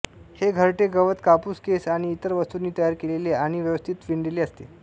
हे घरटे गवत कापूस केस आणि इतर वस्तूंनी तयार केलेले आणि व्यवस्थित विणलेले असते